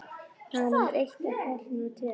Hann var númer eitt en Páll númer tvö.